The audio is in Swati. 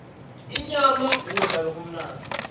inyama kudla lokumnandzi